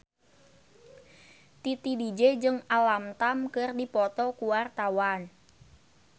Titi DJ jeung Alam Tam keur dipoto ku wartawan